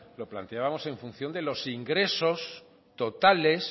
lo planteábamos en función de los ingresos totales